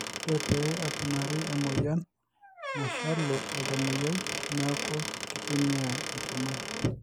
ore pee eponari emoyian nashalu oltamoyiai neeku kitmia intirman